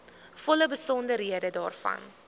volle besonderhede daarvan